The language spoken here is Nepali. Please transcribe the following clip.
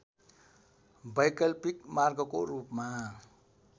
वैकल्पिक मार्गको रूपमा